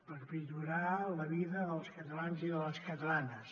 per millorar la vida dels catalans i de les catalanes